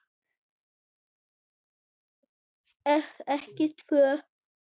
Ef ekki tvö.